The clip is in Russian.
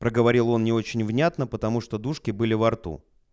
проговорил он не очень внятно потому что дужки были во рту